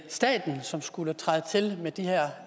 staten som skulle træde til med de her